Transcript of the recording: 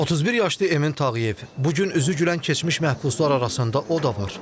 31 yaşlı Emin Tağıyev bu gün üzü gülən keçmiş məhbuslar arasında o da var.